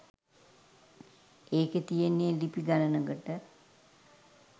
ඒකෙ තියෙන්නෙ ලිපි ගනනකට